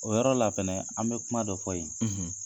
O yɔrɔ la fɛnɛ an bɛ kuma dɔ fɔ yen,